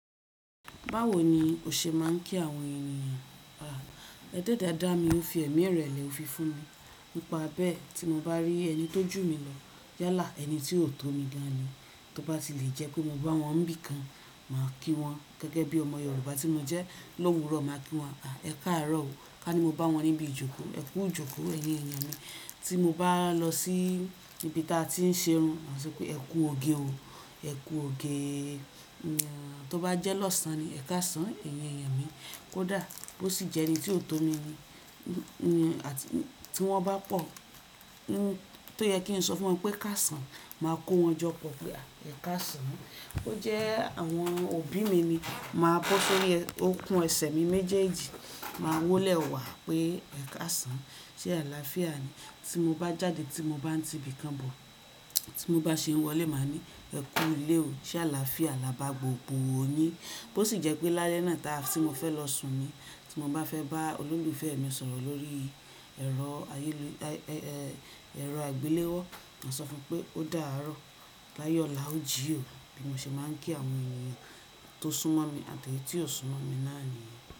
Báwo ni o ṣe máa ń kí àwọn ènìyàn? À, adeda da mi ó fi ẹ̀mí ìrẹ̀lẹ̀ òfi fún mi. Nípa bẹ́ẹ̀ tí mo bá rí ẹni tó jù mí lọ yálà ẹni tí ó tó mi gan ni. Tí ó bá ti lè jẹ́ kó mo bá wọn níbi kan máa kí wọn gẹ́gẹ́ bí ọmọ Yorùbá tí mo jẹ́ lówùúrọ̀ máa kí wọn. À, ẹ káàárọ̀ o. Ká ní mo bá wọn níbi ìjókòó, ẹ kú ìjókòó ẹyin èèyàn mi. Tí mo bá lọ sí ibi tí a ti ń ṣe irun, máa sọ pé ẹ kú òge o, ẹ kú òge. Tí ó bá jẹ́ lọ́sàn ni, ẹ káàsán ẹyin èèyàn mi. Ko dà, bó sì jẹ́ ẹni tí ó tó mi ni àti tí wọ́n bá pọ̀ tó yẹ kí n sọ fún wọn pé káàsán, màá kó wọn jọ pọ̀ pé à ẹ káàsán. Bó jẹ́ àwọn òbí mi ni, màá bọ́ sori òkun ẹsẹ̀ mi méjèèjì máa wólẹ̀ wá pé ẹ káàsán, ṣe àlàáfíà ni. Tí mo bá jáde, tí mo bá ń ti ibì kan bọ̀, tí mo bá ṣe é wọlé, màá ní ẹ kú ilé o, ṣe àlàáfíà, là bá gbogbo yin. Bó sì jẹ́ pé lálẹ́ náà táa tí mo fẹ́ lọ sùn mi, tí mo bá fẹ́ bá olólùfẹ́ mi sọ̀rọ̀ lórí ẹ̀rọ ayéluyẹ̀, ẹ̀, ẹ̀, ẹ̀rọ àgbéléwọ́, máa sọ fún pé ó dà á ró, láyọ̀ láo jí o. Bí mo ṣe máa ń kí àwọn ènìyàn tó sún mọ́ mi àti ẹni tí ò sún mọ́ mi náà ni.